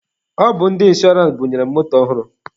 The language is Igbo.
Ọ bụ ndị inshọrance bunyere m moto ọhụrụ.